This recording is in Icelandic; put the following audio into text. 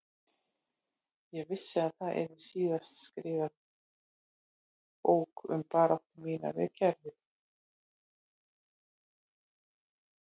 Ég vissi að það yrði síðar skrifuð bók um baráttu mína við kerfið